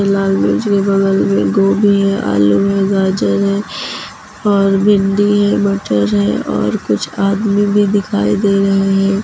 लाल मिर्च के बगल में गोभी है आलू है गाजर है और भिंडी है मटर है और कुछ आदमी भी दिखाई दे रहे हैं।